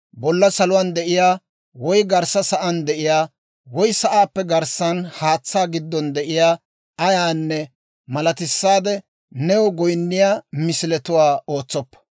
«Bolla saluwaan de'iyaa, woy garssa sa'aan de'iyaa, woy sa'aappe garssan haatsaa giddon de'iyaa ayyaanne malatissaade new goynniyaa misiletuwaa ootsoppa.